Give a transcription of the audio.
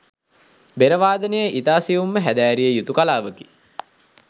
බෙර වාදනය ඉතා සියුම්ව හැදෑරිය යුතු කලාවකි.